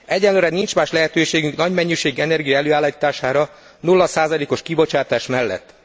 Egyelőre nincs más lehetőségünk nagy mennyiségű energia előállítására nulla százalékos kibocsátás mellett.